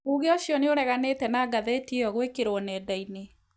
Uge ũcio nĩureganĩte na ngathĩti ĩyo gwĩkĩrwo nenda-inĩ